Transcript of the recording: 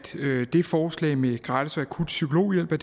det forslag med gratis og akut psykologhjælp